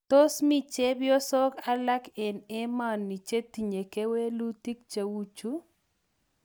Tos mi chepyosok alake eng' emani chetinye kewelutik cheu chu?